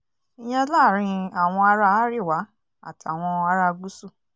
ìyẹn láàrin àwọn ará arẹwà àtàwọn ará gúúsù